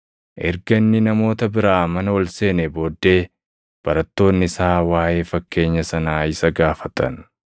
Erga inni namoota biraa mana ol seenee booddee barattoonni isaa waaʼee fakkeenya sanaa isa gaafatan.